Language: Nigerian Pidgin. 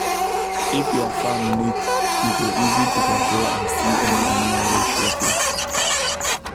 if your farm neat e go easy to control and see any animal wey show face